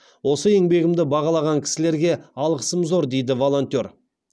осы еңбегімді бағалаған кісілерге алғысым зор дейді волонтер